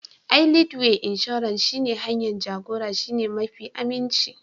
Ai Leadway Inshorar shi ne hanyar jagora shine mafi aminci